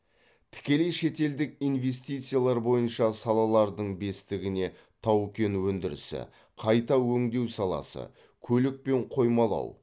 тікелей шетелдік инвестициялар бойынша салалардың бестігіне тау кен өндірісі қайта өңдеу саласы көлік пен қоймалау